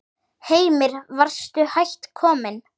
Heimir: Varstu hætt kominn?